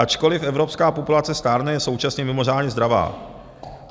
Ačkoliv evropská populace stárne, je současně mimořádně zdravá.